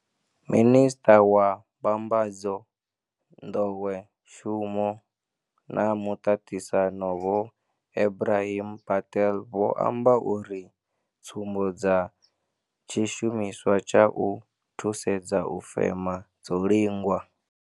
Minisṱa wa Mbambadzo, Nḓowet-shumo na Muṱaṱisano Vho Ebrahim Patel vho amba uri tsumbo dza tshishumiswa tsha u thusedza u fema dzo lingwa.